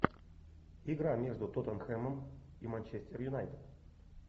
игра между тоттенхэмом и манчестер юнайтед